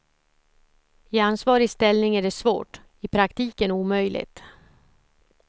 I ansvarig ställning är det svårt, i praktiken omöjligt.